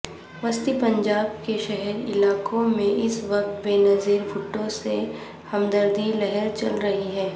وسطی پنجاب کے شہری علاقوں میں اس وقت بےنظیر بھٹو سےہمدردی لہر چل رہی ہے